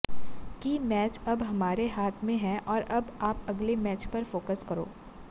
कि मैच अब हमारे हाथ में है और अब आप अगले मैच पर फोक्स करो